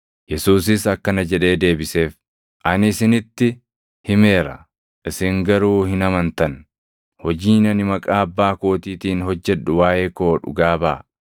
Yesuusis akkana jedhee deebiseef; “Ani isinitti himeera; isin garuu hin amantan. Hojiin ani maqaa Abbaa kootiitiin hojjedhu waaʼee koo dhugaa baʼa.